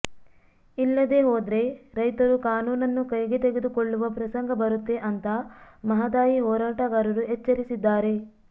ಇಲ್ಲದೇ ಹೋದ್ರೆ ರೈತರು ಕಾನೂನನ್ನು ಕೈಗೆ ತೆಗೆದುಕೊಳ್ಳುವ ಪ್ರಸಂಗ ಬರುತ್ತೆ ಅಂತಾ ಮಹದಾಯಿ ಹೋರಾಟಗಾರರು ಎಚ್ಚರಿಸಿದ್ದಾರೆ